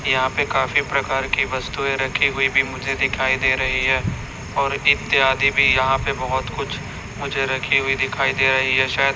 यहाँ पे काफी प्रकार की वस्तुएं रखी हुई भी मुझे दिखाई दे रही है और इत्यादि यहाँ पे बहोत कुछ मुझे रखी हुई दिखाई दे रही है शायद --